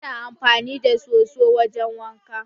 Mu na amfani da soso wajen wanka.